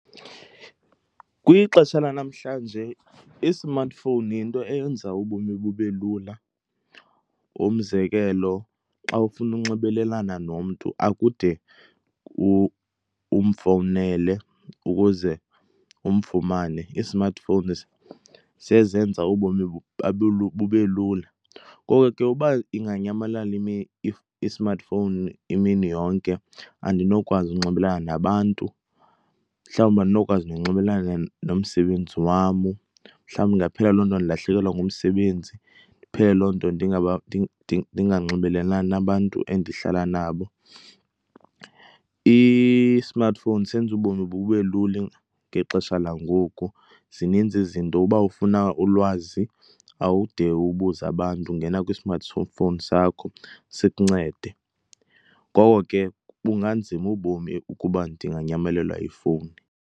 Kwixesha lanamhlanje i-smartphone yinto eyenza ubomi bube lula. Umzekelo, xa ufuna unxibelelana nomntu akude umfowunele ukuze umfumane, ii-smartphone sezenza ubomi bube lula. Ngoko ke uba inganyamalala i-smartphone imini yonke andinokwazi unxibelelana nabantu. Mhlawumbi andinokwazi nonxibelelana nomsebenzi wam. Mhlawumbi ndingaphelelwa ndilahlekelwe ngumsebenzi. Ndiphele loo nto ndinganxibelelani nabantu endihlala nabo. I-smartphone senza ubomi bube lula ngexesha langoku. Zininzi izinto, uba ufuna ulwazi awude ubuze abantu, ungena kwi-smart phone sakho sikuncede. Ngoko ke bunganzima ubomi ukuba ndinganyamelelwa yifowuni.